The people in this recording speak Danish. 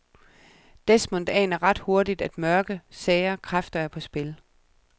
Desmond aner ret hurtigt, at mørke, sære kræfter er på spil.